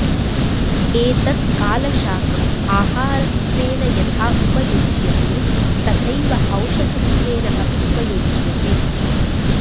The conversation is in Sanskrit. एतत् कालशाकम् आहारत्वेन यथा उपयुज्यते तथैव औषधत्वेन अपि उपयुज्यते